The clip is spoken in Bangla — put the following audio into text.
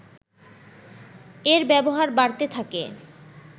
এর ব্যবহার বাড়তে থাকে